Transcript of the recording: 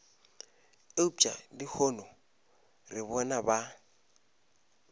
eupša lehono re bona ba